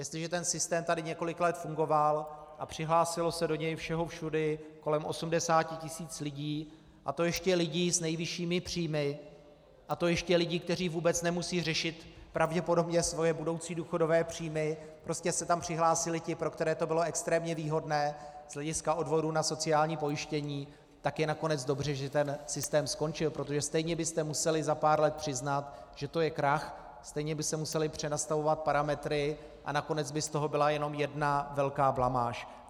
Jestliže ten systém tady několik let fungoval a přihlásilo se do něj všeho všudy kolem 80 tisíc lidí, a to ještě lidí s nejvyššími příjmy, a to ještě lidí, kteří vůbec nemusí řešit pravděpodobně svoje budoucí důchodové příjmy, prostě se tam přihlásili ti, pro které to bylo extrémně výhodné z hlediska odvodů na sociální pojištění, tak je nakonec dobře, že ten systém skončil, protože stejně byste museli za pár let přiznat, že to je krach, stejně by se musely přenastavovat parametry a nakonec by z toho byla jenom jedna velká blamáž.